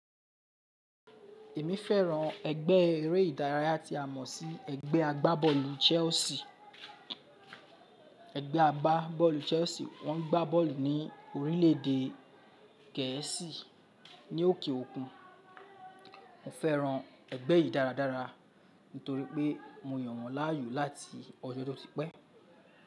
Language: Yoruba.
Èmi fẹ́ràn ẹgbẹ́ eré ìdárayá tí a mọ̀ sí ẹgbẹ́ agbábọ́ọ̀lù Chelsea. Ẹgbẹ́ agbábọ́ọ̀lù Chelsea, wọ́n ń gbá bọ́ọ̀lù ní orílẹ̀ èdè Gẹ̀ẹ́sì, ní ókè òkun. Mo fẹ́ràn ẹgbẹ́ yìí dáradára nítorí pé mo yàn wọ́n láàyò láti ọjọ́ tó ti pẹ́